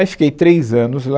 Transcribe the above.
Aí fiquei três anos lá,